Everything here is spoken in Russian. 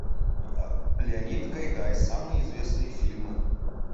леонид гайдай самые известные фильмы